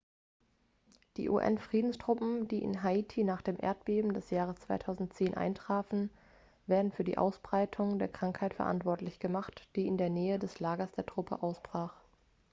die un-friedenstruppen die in haiti nach dem erdbeben des jahres 2010 eintrafen werden für die ausbreitung der krankheit verantwortlich gemacht die in der nähe des lagers der truppe ausbrach